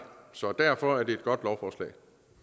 så derfor er det et godt lovforslag